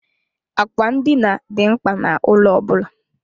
Àkwà ndina dị mkpa n'ụlọ ọ bụla.